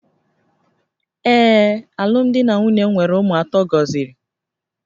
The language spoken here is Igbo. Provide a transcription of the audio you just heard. Ee, alụmdi na nwunye m nwere ụmụ atọ gọziri